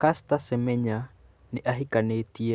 Caster Semenya nĩ ahikanĩtie